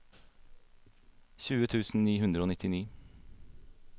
tjue tusen ni hundre og nittini